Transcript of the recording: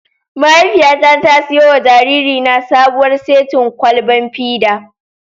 Mahaifiyata ta siyo wa jaririna sabuwar setin kwalban fida.